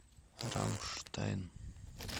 рамштайн